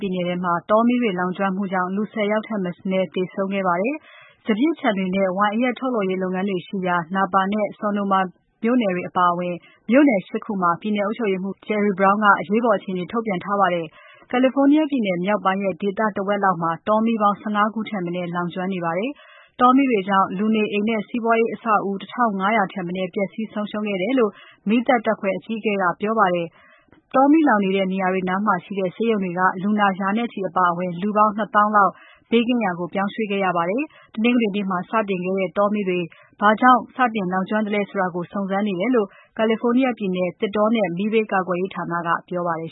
ပြည်နယ်ထဲကမှာ တောမီးတွေ လောင်ကျွမ်းမှုကြောင့် လူ ၁၀ ဦးထက်မနည်းသေဆုံးခဲ့ပါတယ်။ စပျစ်ခြံတွေနဲ့ဝိုင်အရက် ထုတ်လုပ်တဲ့ လုပ်ငန်းတွေရှိရာ Napa နဲ့ Sonoma မြို့နယ်တွေအပါအဝင် မြို့နယ် ၈ ခုမှာ ပြည်နယ်အုပ်ချုပ်ရေးမှူး Jerry Brown က အရေးပေါ်အခြေအနေ ထုတ်ပြန်ထားပါတယ်။ California ပြည်နယ်မြောက်ပိုင်းရဲ့ ဒေသတဝက်လောက်မှာ တောမီးပေါင်း ၁၅ ခုထက်မနည်း လောင်ကျွမ်းနေတာပါ။ တောမီးတွေကြောင့် လူနေအိမ်နဲ့ စီးပွားရေးအဆောက်အဦး ၁၅၀၀ ထက်မနည်း ပျက်စီးဆုံးရှုံးခဲ့တယ်လို့ မီးသတ်တပ်ဖွဲ့အကြီးအကဲက ပြောပါတယ်။ တောမီးလောင်နေတဲ့ နေရာတွေနားမှာရှိတဲ့ ဆေးရုံတွေက လူနာ ရာနဲ့ချီအပါအဝင် လူပေါင်း ၂ သောင်းလောက် ဘေးကင်းရာကို ပြောင်းရွှေ့ခဲ့ရပါတယ်။ တနင်္ဂနွေနေ့မှာ စတင်ခဲ့တဲ့ တောမီးတွေ ဘာကြောင့်စလောင်ကျွမ်းသလဲဆိုတာကို စုံစမ်းနေတယ်လို့ California ပြည်နယ် သစ်တောနဲ့ မီးဘေးကာကွယ်ရေးဌာက ပြောပါတယ်